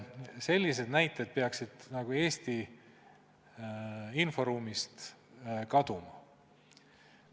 Sellised näited peaksid Eesti inforuumist kaduma.